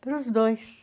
Para os dois.